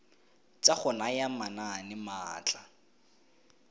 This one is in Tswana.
tsa go naya manane maatla